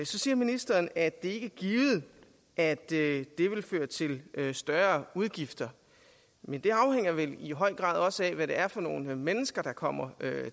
så siger ministeren at det ikke er givet at det vil føre til større udgifter men det afhænger vel i høj grad også af hvad det er for nogle mennesker der kommer